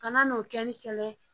Kana n'o kɛli kɛlɛ ye